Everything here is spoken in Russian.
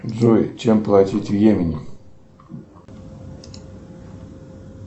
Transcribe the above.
джой чем платить в йемене